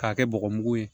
K'a kɛ bɔgɔmugu ye